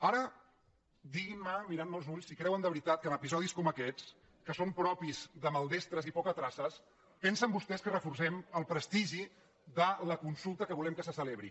ara diguin·me mirant·me als ulls si creuen de veri·tat que amb episodis com aquests que són propis de maldestres i pocatraces pensen vostès que reforcem el prestigi de la consulta que volem que se celebri